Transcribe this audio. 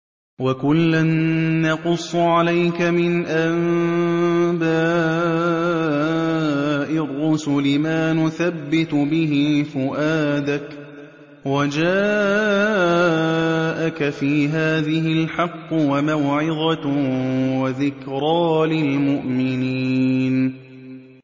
وَكُلًّا نَّقُصُّ عَلَيْكَ مِنْ أَنبَاءِ الرُّسُلِ مَا نُثَبِّتُ بِهِ فُؤَادَكَ ۚ وَجَاءَكَ فِي هَٰذِهِ الْحَقُّ وَمَوْعِظَةٌ وَذِكْرَىٰ لِلْمُؤْمِنِينَ